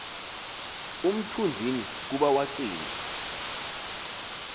umthunzini kuba wacinga